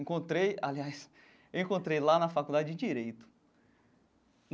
Encontrei, aliás, eu encontrei lá na Faculdade de Direito.